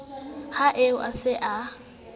ha eo a se a